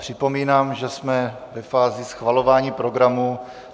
Připomínám, že jsme ve fázi schvalování programu.